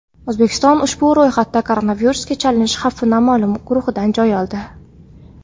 O‘zbekiston ushbu ro‘yxatda koronavirusga chalinish xavfi noma’lum guruhidan joy oldi.